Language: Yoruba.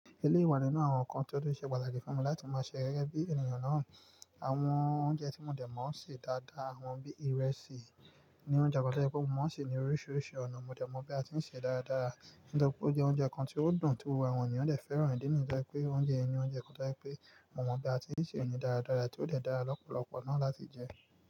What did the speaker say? Eléyi wa nínú àwọn ǹkan tí ó de pàtàkì fún mi láti ma ṣẹ gẹ́gẹ́ bí ènìyàn náà. Àwọn oúnjẹ tí mo dẹ̀ mọ̀ ń ṣe dáadáa, àwọn bí ìrẹsì, ní oúnjẹ pàtàkì tó mọ̀ ń ṣe ní oríṣiríṣi ọ̀nà, mo dẹ̀ mọ̀ bí a tí ń ṣe dáradára. Ǹitori pé ó jẹ oúnjẹ kan tí ó dùn, tí gbogbo àwọn ènìyàn dè fẹ́ràn, ìdí nì yẹ́n to je pé oúnjẹ yẹn ni oúnjẹ kan jẹ́ pé mo mọ bí a tí ń ṣe é ní dáradára tí ó lè dára lọ́pọ̀lọpọ̀ náà láti jẹ.